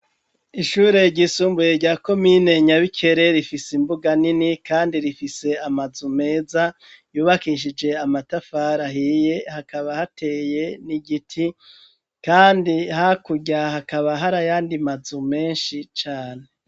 Ishure ryisumbuye rya komine nyabikere ifise imbuga nini, kandi rifise amazu meza yubakishije amatafara ahiye hakaba hateye ni igiti, kandi hakurya hakaba harayandi mazu menshi cane.